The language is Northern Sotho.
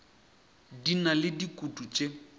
di na le dikutu tše